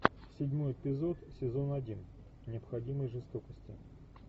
седьмой эпизод сезон один необходимой жестокости